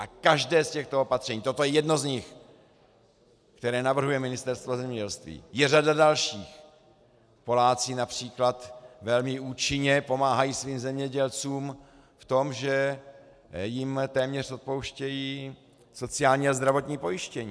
A každé z těchto opatření, toto je jedno z nich, které navrhuje Ministerstvo zemědělství, je řada dalších - Poláci například velmi účinně pomáhají svým zemědělcům v tom, že jim téměř odpouštějí sociální a zdravotní pojištění.